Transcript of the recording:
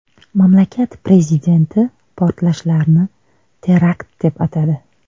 Mamlakat prezidenti portlashlarni terakt deb atadi .